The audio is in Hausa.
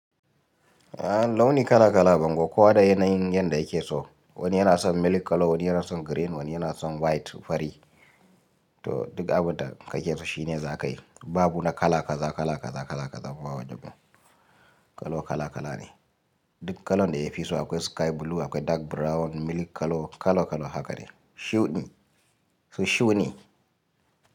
A launi kala-kala bangon kowa da yanayin yadda yake so. Wani yana son milk color, wani yana son green, wani yana son white fari. To duk abin da ka ke so shi ne za ka yi. Babu na kala kaza, kala kaza, kala kaza. Kowa daban kolo kala-kala ne. Duk kalan da ya fi so akwai sky blue, akwai dark brown, milk color kala-kala haka ne. Shuɗin su shuu ne.